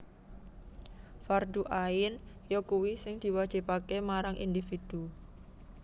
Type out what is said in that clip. Fardhu Ain yakuwi sing diwajibaké marang individu